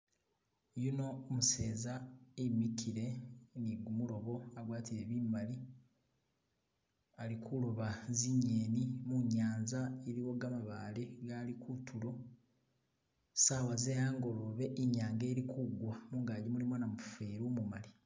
Yuno umuseza e'mikile ali ni kumulobo agwatile bimali ali kuloba zingeni munyanza iliwo gamabaale agaali kutulo, saawa ze'angolobe inyanga ili kugwa mungaki mulimo namufeli umumali.